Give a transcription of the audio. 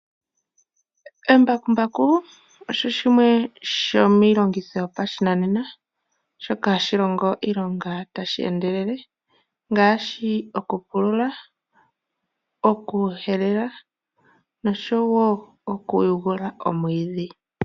Embakumbaku olyo lyimwe lyomiilongitho yopashinanene shoka hali longo iilonga tali endelele ngaashi okupulula, okuhelela noshowo okuteta omwiidhi.